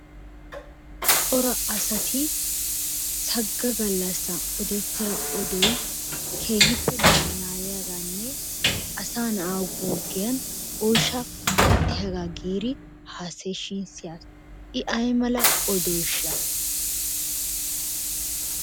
Cora asati sagga gallassan oddetidda odoy keehippe malaaliyagaanne asaa na'aa guggiyan oyshaa wotiyagaa giiri haasayiga siyaas i aymal oddoosha?